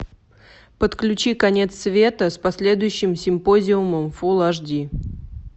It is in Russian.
подключи конец света с последующим симпозиумом фулл аш ди